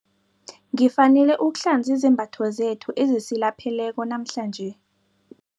Ngifanele ukuhlanza izembatho zethu ezisilapheleko namhlanje.